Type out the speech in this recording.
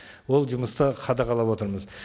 ол жұмысты қадағалап отырмыз